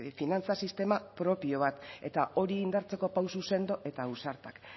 finantza sistema propio bat eta hori indartzeko pauso sendo eta ausartak